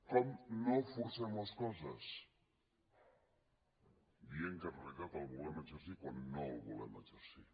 com no forcem les coses dient que en realitat el volem exercir quan no el volem exercir